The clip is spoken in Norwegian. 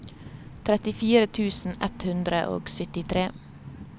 trettifire tusen ett hundre og syttitre